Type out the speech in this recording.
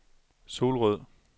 Solrød